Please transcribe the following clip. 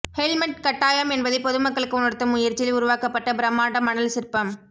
helmet கட்டாயம் என்பதை பொதுமக்களுக்கு உணர்த்தும் முயற்சியில் உருவாக்கப்பட்ட பிரமாண்ட மணல் சிற்பம்